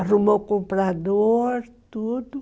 Arrumou o comprador, tudo.